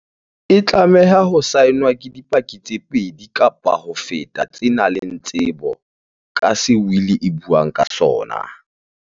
E tlameha ho saenwa ke di paki tse pedi kapa ho feta tse nang le tsebo ka se wili e buang ka sona.